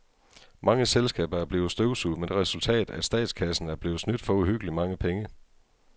Mange selskaber er blevet støvsuget med det resultat, at statskassen er blevet snydt for uhyggeligt mange penge.